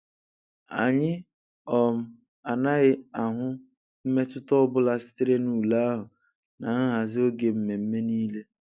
Anyị um anaghị ahụ mmetụta ọ bụla sitere na ule ahụ na nhazi oge mmemme niile.